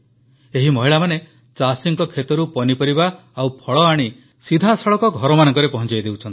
ଏହି ମହିଳାମାନେ ଚାଷୀଙ୍କ କ୍ଷେତରୁ ପନିପରିବା ଓ ଫଳ ଆଣି ସିଧାସଳଖ ଘରମାନଙ୍କରେ ପହଂଚାଇ ଦେଉଛନ୍ତି